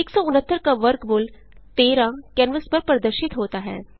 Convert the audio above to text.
169 का वर्गमूल 13 कैनवास पर प्रदर्शित होता है